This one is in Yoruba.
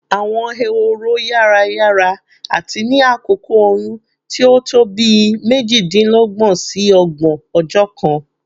Awọn ehoro yara yara ati ni akoko oyun ti o to bii mejidinlọgbọn si ọgbọn ọjọ kan